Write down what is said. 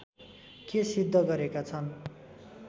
के सिद्ध गरेका छन्